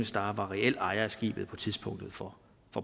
star var reel ejer af skibet på tidspunktet for